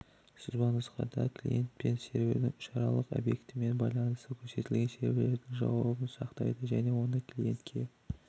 сызбанұсқада клиент пен сервердің үш аралық объектпен байланысы көрсетілген серверлердің жаубын сақтайды және оны клиентке